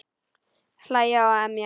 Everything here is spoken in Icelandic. Hlæja og emja.